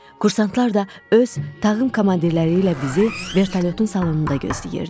Kursantlar da öz tağım komandirləri ilə bizi vertolyotun salonunda gözləyirdi.